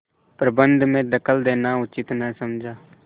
प्रबंध में दखल देना उचित न समझा